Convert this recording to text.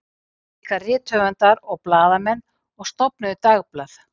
Þeir gerðust líka rithöfundar og blaðamenn og stofnuðu dagblöð.